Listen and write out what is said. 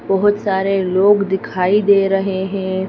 बहुत सारे लोग दिखाई दे रहे हैं।